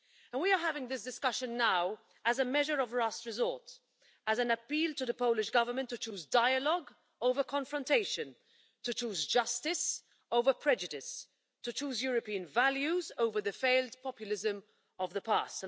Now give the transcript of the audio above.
We are having this discussion now as a measure of last resort, as an appeal to the Polish Government to choose dialogue over confrontation, to choose justice over prejudice, and to choose European values over the failed populism of the past.